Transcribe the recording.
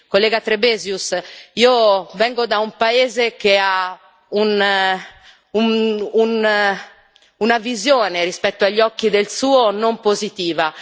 Onorevole Trebesius, io vengo da un paese che ha una visione, rispetto agli occhi del suo, non positiva.